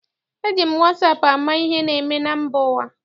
Eji m wasaapụ ama ihe na-eme na mba ụwa.